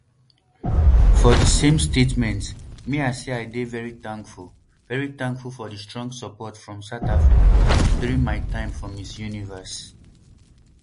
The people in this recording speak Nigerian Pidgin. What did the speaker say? for di same statement mia say i dey very thankful very thankful for di strong support from south africa during my time for miss universe